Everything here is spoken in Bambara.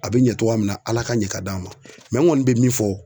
A be ɲɛ cogoya min na Ala k'a ɲɛ k'a d'an ma n ŋɔni bɛ min fɔ